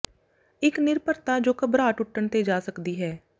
ਇੱਕ ਨਿਰਭਰਤਾ ਜੋ ਘਬਰਾ ਟੁੱਟਣ ਤੇ ਜਾ ਸਕਦੀ ਹੈ